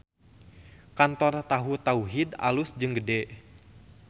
Kantor Tahu Tauhid alus jeung gede